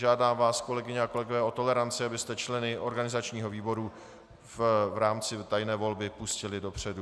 Žádám vás, kolegyně a kolegové o toleranci, abyste členy organizačního výboru v rámci tajné volby pustili dopředu.